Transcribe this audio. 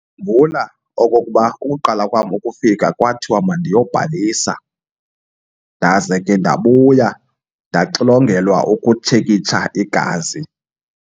okokuba ukuqala kwam ukufika kwathiwa mandiyobhalisa. Ndaze ke ndabuya ndaxilongelwa ukutshekisha igazi.